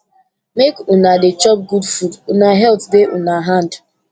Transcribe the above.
make una dey chop good food una health dey una hand